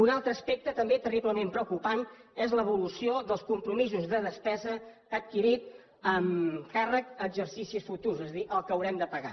un altre aspecte també terriblement preocupant és l’evolució dels compromisos de despeses adquirits amb càrrec a exercicis futurs és a dir el que haurem de pagar